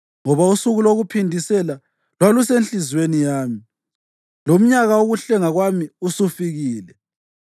Ngoba usuku lokuphindisela lwalusenhliziyweni yami, lomnyaka wokuhlenga kwami usufikile.